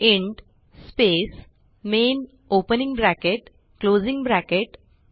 int space main opening bracket closing bracket